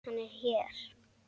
Hann er hér.